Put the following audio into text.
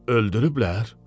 Öldürüblər?